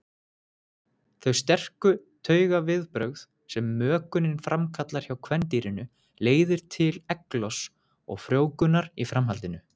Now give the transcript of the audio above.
Þau sterku taugaviðbrögð sem mökunin framkallar hjá kvendýrinu leiðir til eggloss og frjóvgunar í framhaldinu.